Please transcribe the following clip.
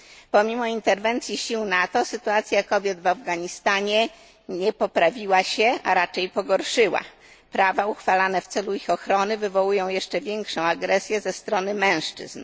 Pomimo interwencji sił NATO sytuacja kobiet w Afganistanie nie poprawiła się, a raczej pogorszyła. Prawa uchwalane w celu ich ochrony wywołują jeszcze większą agresję ze strony mężczyzn.